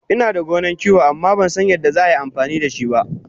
Inada gonan kiwo amma Bansan yadda za a yi amfani dashiba